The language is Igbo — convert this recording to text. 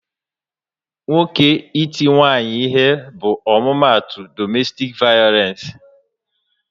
Nwoke iti nwunye ya ihe bụ omumatu domestik vayolence